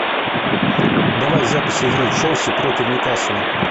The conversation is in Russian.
давай запись игры челси против ньюкасла